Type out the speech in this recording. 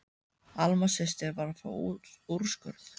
Alma systir var að fá úrskurð.